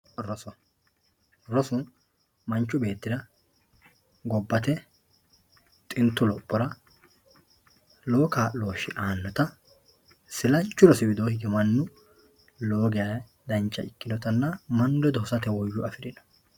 Roso rosu manichu beetira gobate xintu lophora lowo kaaloshe aanota isilaanchu rosi widoo ige manchu lowo geya dancha ikinotana mnau ledo hosate woyyo afirino.